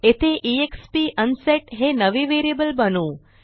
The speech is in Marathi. येथे एक्स्प अनसेट हे नवे व्हेरिएबल बनवू